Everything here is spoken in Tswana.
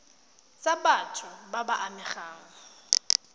tsa batho ba ba amegang